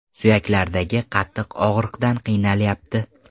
Suyaklaridagi qattiq og‘riqdan qiynalyapti.